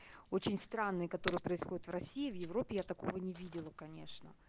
очень странные которые происходят в россии в европе я такого не видела конечно